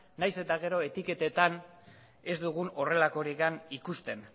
nahiz eta gero etiketetan ez dugun horrelakorik ikusten